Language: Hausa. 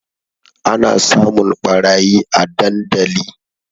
Ana samun ɓarayi a dandali